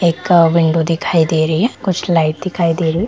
एक विंडो दिखाई दे रही है कुछ लाइट दिखाई दे रही है।